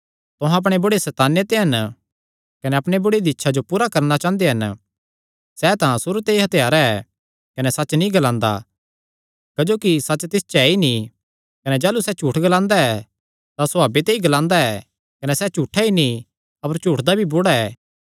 तुहां अपणे बुढ़े सैताने ते हन कने अपणे बुढ़े दी इच्छां जो पूरा करणा चांह़दे हन सैह़ तां सुरू ते ई हत्यारा ऐ कने सच्च नीं ग्लांदा क्जोकि सच्च तिस च ऐ ई नीं कने जाह़लू सैह़ झूठ ग्लांदा ऐ तां सभावे ते ई ग्लांदा ऐ कने सैह़ झूठा ई नीं अपर झूठ दा भी बुढ़ा ऐ